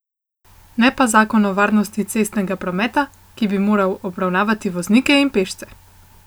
Ne pa zakon o varnosti cestnega prometa, ki bi moral obravnavati voznike in pešce.